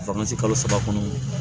kalo saba kɔnɔ